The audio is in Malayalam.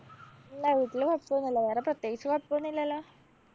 ഇല്ല. വീട്ടില് കൊഴപ്പോന്നുല്ലാ. വേറെ പ്രത്യേകിച്ച് കൊഴപ്പോന്നില്ലാല്ലോ?